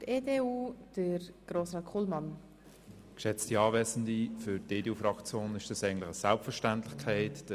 Für die EDU ist dieser Minderheitsantrag eine Selbstverständlichkeit.